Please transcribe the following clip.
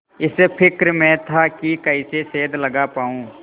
इस फिक्र में था कि कैसे सेंध लगा पाऊँ